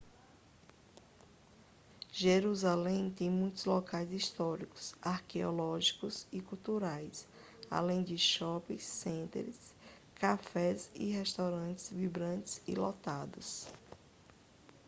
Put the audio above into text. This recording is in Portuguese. jerusalém tem muitos locais históricos arqueológicos e culturais além de shopping centers cafés e restaurantes vibrantes e lotados